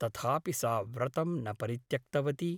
तथापि सा व्रतं न परित्यक्तवती ।